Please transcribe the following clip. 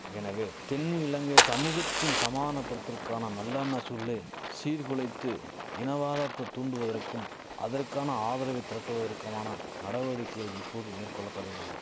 எனவே தென்னு இலங்கை சமுகத்தின் சமாதனபடுத்தற்கான நல்லெண்ண சூர்ழே சீர்குலைத்து இனவாதத்த தூண்டுவதற்கும் அதற்கான ஆதரவை திரட்டுவதற்குமான நடவடிக்கைகள் இப்போது மேற்கொள்ளபடுகின